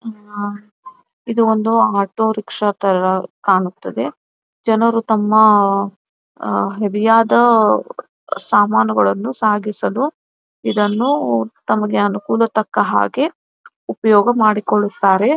ಇದು ಒಂದು auto rickshaw ತರ ಕಾಣುತ್ತದೆ ಜನರು ತಮ್ಮ ಅಹ್ ಹೆವಿ ಆದ ಸಾಮಾನುಗಳನ್ನು ಸಾಗಿಸಲು ಇದನ್ನು ತಮಗೆ ಅನುಕೂಲ ತಕ್ಕ ಹಾಗೆ ಉಪಯೋಗ ಮಾಡಿಕೊಳ್ಳುತ್ತಾರೆ .